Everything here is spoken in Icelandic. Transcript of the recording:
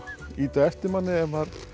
ýta á eftir manni ef maður